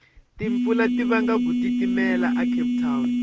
timpfula tivanga gutitimela a cape town